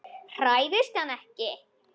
Hræðist hann ekki.